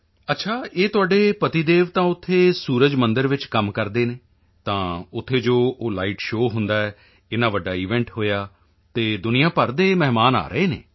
ਚੰਗਾ ਇਹ ਤੁਹਾਡੇ ਪਤੀਦੇਵ ਤਾਂ ਉੱਥੇ ਸੂਰਜ ਮੰਦਿਰ ਵਿੱਚ ਕੰਮ ਕਰਦੇ ਹਨ ਤਾਂ ਉੱਥੇ ਜੋ ਉਹ ਲਾਈਟ ਸ਼ੋਅ ਹੁੰਦਾ ਏਨਾ ਵੱਡਾ ਈਵੈਂਟ ਹੋਇਆ ਅਤੇ ਦੁਨੀਆ ਭਰ ਦੇ ਮਹਿਮਾਨ ਆ ਰਹੇ ਹਨ